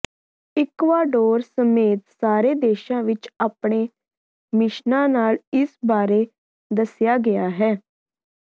Ecuador ਸਮੇਤ ਸਾਰੇ ਦੇਸ਼ਾਂ ਵਿਚ ਆਪਣੇ ਮਿਸ਼ਨਾਂ ਨਾਲ ਇਸ ਬਾਰੇ ਦੱਸਿਆ ਗਿਆ ਹੈ